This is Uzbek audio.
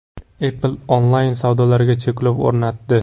Apple onlayn-savdolarga cheklov o‘rnatdi.